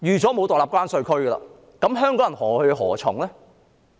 那麼香港人何去何從呢？